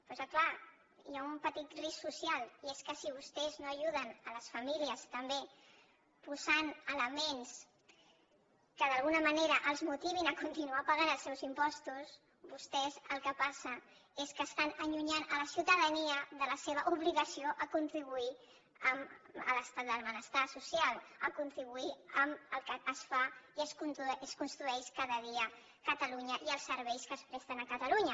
però és que clar hi ha un petit risc social i és que si vostès no ajuden les famílies també posant elements que d’alguna manera els motivin a continuar pagant els seus impostos vostès el que passa és que estan allunyant la ciutadania de la seva obligació de contribuir a l’estat del benestar social de contribuir amb el que es fa i es construeix cada dia catalunya i els serveis que es presten a catalunya